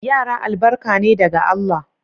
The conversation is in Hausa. Yara albarka ne daga Allah.